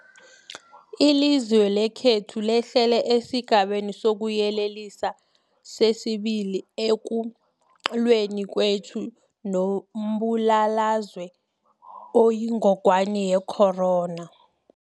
Ilizwe lekhethu lehlele esiGabeni sokuYele lisa sesi-2 ekulweni kwethu nombulalazwe oyingogwana ye-corona.